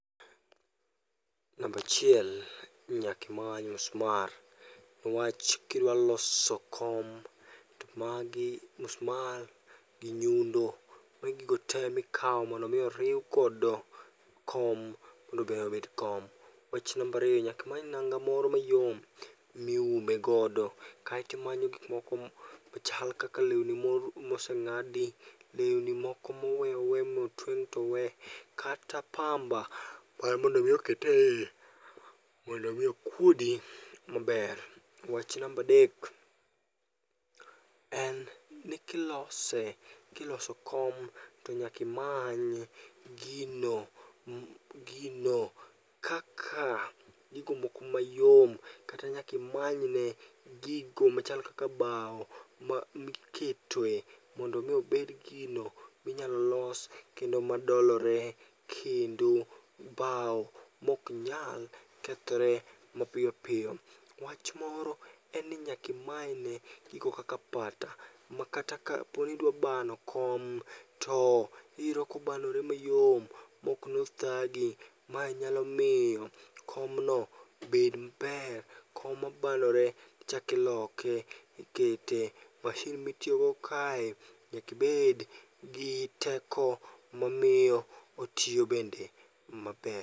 Nambachiel ni nyakimany musmar niwach kidwa loso kom to magi musmar gi nyundo. Magi gigo te mikawo mondo mi oriw godo kom mondo be obed kom. Wach nambariyo nyakimany nanga moro mayom miume godo kaetimanyo gikmoko machal kaka lewni moseng'adi. Lewni moko mowe owe motweng' towe, kata pamba mar mondo mi okete iye mondo mi okuodi maber. Wach nambadek, en ni kilose, kiloso kom to nyakimany gino, gino kaka gigo moko mayom. Kata nyakimanyne gigo machal kaka bao miketoe mondomi obed gino minyalo los kendo madolore kendo bao moknyal kethore mapiyopiyo. Wach moro en ni nyakimanyne gigo kaka pata, ma kata kaponi idwa bano kom to iyudo kobanore mayom moknothagi. Ma nyalo miyo komno bed maber, kom mabanore ichak iloke, ikete. Mashin mitiyogo kae nyakibed gi teko mamiyo otiyobende maber.